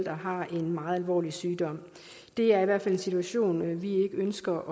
har en meget alvorlig sygdom det er i hvert fald en situation vi ikke ønsker